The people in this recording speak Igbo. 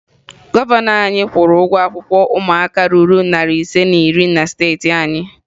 Gọvanọ anyị kwụrụ ụgwọ akwụkwọ ụmụaka ruru narị ise na iri na steeti anyị